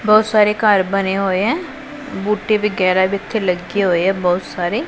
ਬਹੁਤ ਸਾਰੇ ਘਰ ਬਣੇ ਹੋਏ ਐ ਬੂਟੀ ਵਿਗੈਰਾ ਵੀ ਇੱਥੇ ਲੱਗੇ ਹੋਏ ਐ ਬਹੁਤ ਸਾਰੇ।